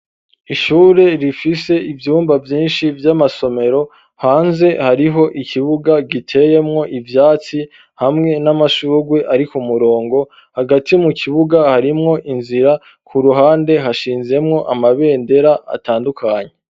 Ishure rifise ivyumba vyinshi vy'amasomero, hanze hariho ikibuga giteyemwo ivyatsi hamwe n'amashugwe ari ku murongo, hagati mu kibuga harimwo inzira, ku ruhande hashinzemwo amabendera atandukanye.